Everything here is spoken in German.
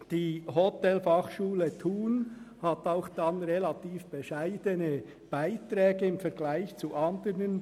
Die Hotelfachschule Thun verlangt auch relativ bescheidene Studiengebühren.